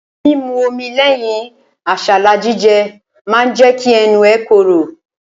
Mímu omi lẹ́yìn àsálà jíjẹ ma jẹ́ kẹ́nu ẹ korò.